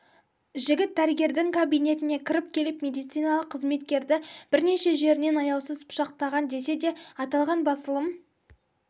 жігіт дәрігердің кабинетіне кіріп келіп медициналық қызметкерді бірнеше жерінен аяусыз пышақтаған десе де аталған басылым